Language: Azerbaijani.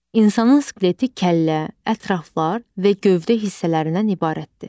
İnsanın skeleti kəllə, ətraflar və gövdə hissələrindən ibarətdir.